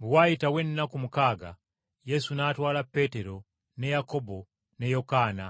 Bwe waayitawo ennaku mukaaga Yesu n’atwala Peetero ne Yakobo ne Yokaana